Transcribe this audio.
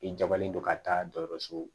I jabalen don ka taa dɔgɔtɔrɔso